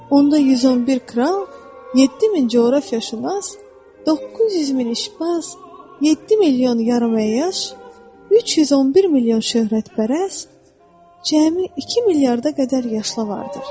Onda 111 kral, 7000 coğrafiyaşünas, 900 min işbaz, 7 milyon yarıməyəş, 311 milyon şöhrətpərəst, cəmi 2 milyarda qədər yaşlı var idi.